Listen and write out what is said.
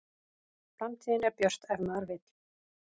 Framtíðin er björt ef maður vill